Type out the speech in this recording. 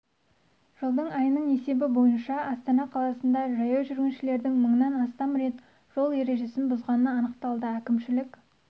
жылдың айының есебі бойынша астана қаласында жаяу жүргіншілердің мыңнан астам рет жол ережесін бұзғаны анықталды әкімшілік